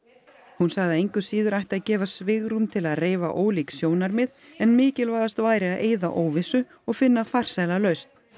hún sagði að engu að síður ætti að gefa svigrúm til að reifa ólík sjónarmið en mikilvægast væri að eyða óvissu og finna farsæla lausn